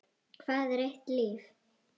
Hvað er eitt líf?